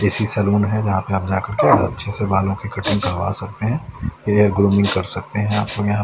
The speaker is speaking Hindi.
ए_सी सलून है जहाँ पर आप जाकर के अच्छे से बालों की कटिंग करवा सकते हैं एयर ग्रूमिंग कर सकते हैं आप --